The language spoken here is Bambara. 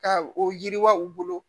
Ka o yiriwa u bolo